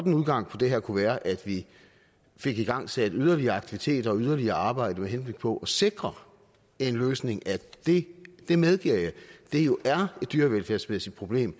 en udgang på det her kunne være at vi fik igangsat yderligere aktiviteter og yderligere arbejde med henblik på at sikre en løsning af det det medgiver jeg dyrevelfærdsmæssige problem